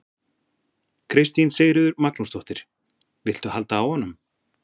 Kristín Sigríður Magnúsdóttir: Viltu halda á honum?